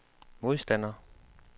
modstander